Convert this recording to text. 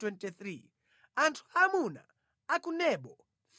Anthu aamuna a ku Nebo 52